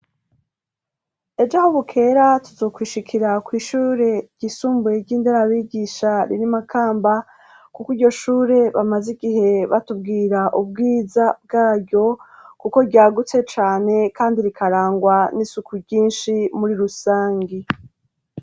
Ejo aho bukera tuzokwishikira kw'ishure ryisumbuye ry'inderabigisha riri i Makamba, kuko iryo shure bamaze igihe batubwira ubwiza bwaryo, kuko ryagutse cane kandi rikarangwa n'isuku ryinshi muri rusangi.